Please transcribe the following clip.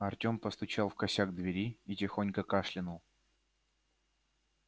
артем постучал в косяк двери и тихонько кашлянул